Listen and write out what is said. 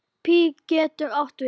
Pí getur átt við